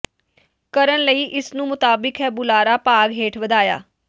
ਕਰਨ ਲਈ ਇਸ ਨੂੰ ਮੁਤਾਬਿਕ ਹੈ ਬੁਲਾਰਾ ਭਾਗ ਹੇਠ ਵਧਾਇਆ